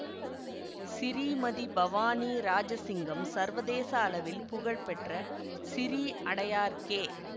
சிறீமதி பவானி இராஜசிங்கம் சர்வதேச அளவில் புகழ் பெற்ற சிறீ அடையார் கே